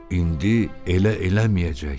İndi elə eləməyəcək.